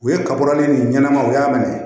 U ye kaburane ni ɲɛnɛmaw u y'a minɛ